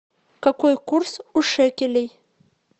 какой курс у шекелей